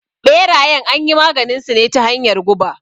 Ɓerayen anyi maganinsu ne ta hanyar guba.